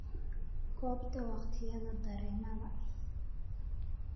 goobta waqtiyada tareenada